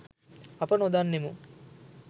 අප නොදන්නෙමු